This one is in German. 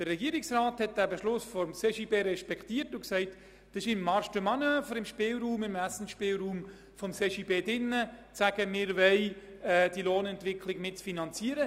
Der Regierungsrat hat diesen Beschluss des CJB respektiert und ist der Meinung, es liege im Handlungsspielraum des CJB zu sagen, man wolle die Lohnentwicklung auf diese Weise mitfinanzieren.